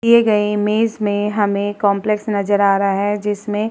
दिए गए इमेज में हमे काम्प्लेक्स नज़र आ रहा है जिसमे --